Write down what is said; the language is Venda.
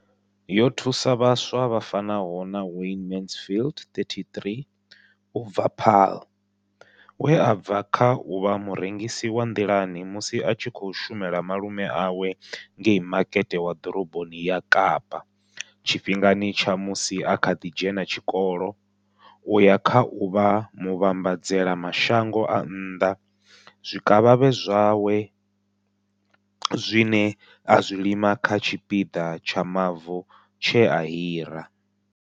Yo thusa vhaswa vha fanaho na Wayne Mansfield, 33, u bva Paarl, we a bva kha u vha murengisi wa nḓilani musi a tshi khou shumela malume awe ngei Makete wa Ḓoroboni ya Kapa tshifhingani tsha musi a kha ḓi dzhena tshikolo u ya kha u vha muvhambadzela mashango a nnḓa zwikavhavhe zwawe zwine a zwi lima kha tshipiḓa tsha mavu tshe a hira.